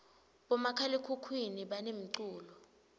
bomakhalakhukhuni banemculo